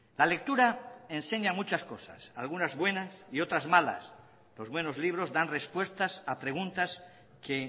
la lectura enseña muchas cosas algunas buenas y otras malas los buenos libros dan respuestas a preguntas que